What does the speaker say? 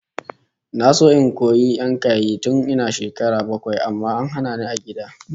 Na so in koyi yankayi tun ina shekara bakwai amma an hana ni a gida